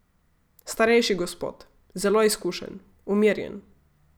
Starejši gospod, zelo izkušen, umirjen.